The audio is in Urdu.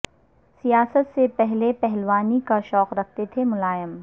سیاست سے پہلے پہلوانی کا شوق رکھتے تھے ملائم